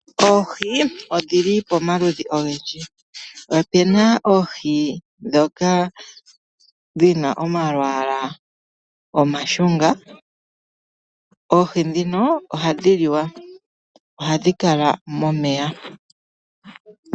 Oohi odhi li pomaludhi ogendji, opena oohi ndhoka dhina omalwaala omashunga, oohi ndhino ohadhi liwa, ohadhi kala momeya.